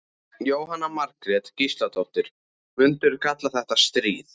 Jóhanna Margrét Gísladóttir: Myndirðu kalla þetta stríð?